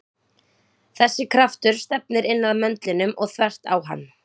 Þessi kraftur stefnir inn að möndlinum og þvert á hann.